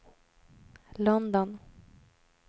London